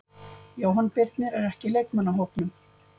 Jóhann Birnir er ekki í leikmannahópnum.